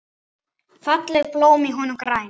Fallegt blóm í honum grær.